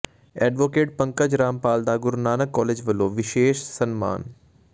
advocate Pankaj Rampal ਦਾ Guru Nanak college ਵਲੋਂ ਵਿਸ਼ੇਸ਼ ਸਨਮਾਨ